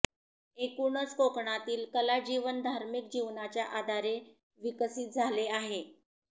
एकूणच कोकणातील कलाजीवन धार्मिक जीवनाच्या आधारे विकसित झाले आहे